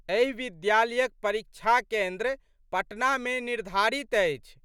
एहि विद्यालयक परीक्षा केन्द्र पटनामे निर्धारित अछि।